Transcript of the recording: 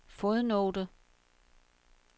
fodnote